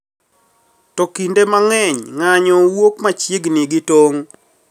To kinde mang`eny ng`anyo wuok machiegni gi tong`